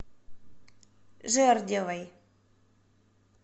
жердевой